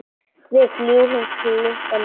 Við fljúgum klukkan níu.